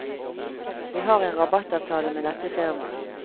Vi har en rabattavtale med dette firmaet.